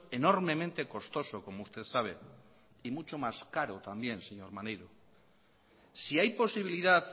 enormemente costoso como usted sabe y mucho más caro también señor maneiro si hay posibilidad